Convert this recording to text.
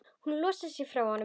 Hún losar sig frá honum.